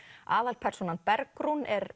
aðalpersónan Bergrún er